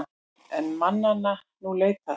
Er mannanna nú leitað.